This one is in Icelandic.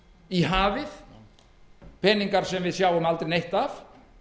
í hafið peningar sem við sjáum aldrei neitt af